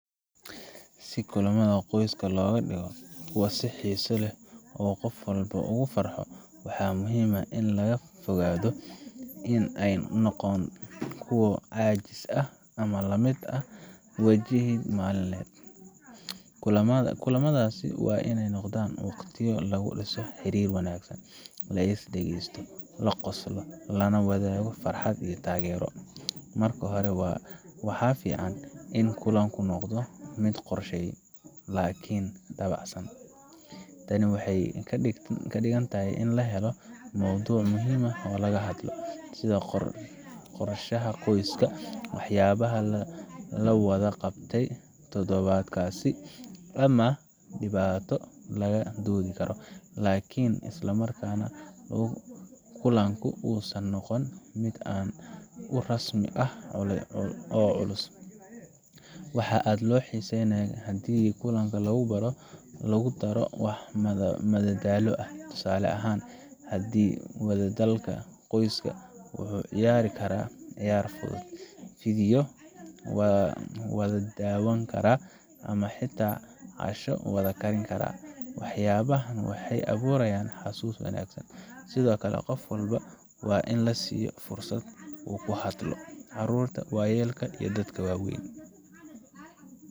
Si kulamada qoyska looga dhigo kuwo xiiso leh oo qof walba uu ku farxo, waxaa muhiim ah in laga fogaado in ay noqdaan kuwo caajis ah ama la mid ah waajibaad maalinle ah. Kulamadaasi waa inay noqdaan waqtiyo lagu dhiso xiriir wanaagsan, la is dhagaysto, la qoslo, lana wadaago farxad iyo taageero. Marka hore, waxaa fiican in kulanku noqdo mid qorshaysan laakiin dabacsan. Tani waxay ka dhigan tahay in la helo mowduuc muhiim ah oo laga hadlo sida qorshaha qoyska, waxyaabaha la wada qabtay toddobaadkaas, ama dhibaato laga doodi karo laakiin isla markaana kulanku uusan noqon mid aad u rasmi ah oo culus. Waxaa aad loo xiiseeyaa haddii kulanka lagu daro wax madadaalo ah. Tusaale ahaan, kadib wadahadalka, qoyska wuxuu ciyaari karaa ciyaar fudud, fiidiyow wada daawan karaa, ama xitaa casho wada karin karaa. Waxyaabahan waxay abuurayaan xasuus wanaagsan. Sidoo kale, qof walba waa in la siiyo fursad uu ku hadlo—caruurta, waayeelka, iyo dadka waaweyn